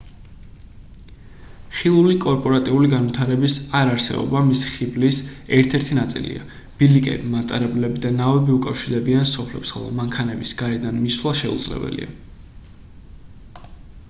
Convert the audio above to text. ხილული კორპორატიული განვითარების არ არსებობა მისი ხიბლის ერთ-ერთი ნაწილია ბილიკები მატარებლები და ნავები უკავშირდებიან სოფლებს ხოლო მანქანების გარედან მისვლა შეუძლებელია